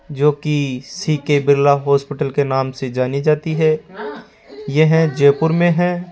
जो की C K Birla hospital के नाम से जानी जाती हैं यह जयपुर मे है।